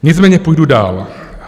Nicméně půjdu dál.